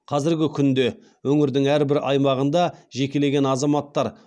қазіргі күнде өңірдің әрбір аймағында жекелеген азаматтар